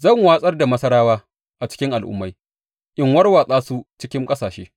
Zan watsar da Masarawa a cikin al’ummai in warwatsa su cikin ƙasashe.